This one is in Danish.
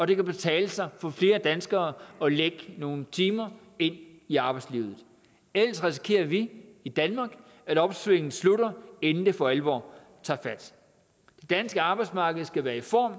det kan betale sig for flere danskere at lægge nogle timer ind i arbejdslivet ellers risikerer vi i danmark at opsvinget slutter inden det for alvor tager fat det danske arbejdsmarked skal være i form